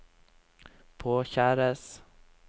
påkjæres